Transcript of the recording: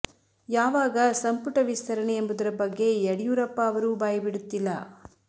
ಯಾವಾಗ ಸಂಪುಟ ವಿಸ್ತರಣೆ ಎಂಬುದರ ಬಗ್ಗೆ ಯಡಿಯೂರಪ್ಪ ಅವರೂ ಬಾಯಿ ಬಿಡುತ್ತಿಲ್ಲ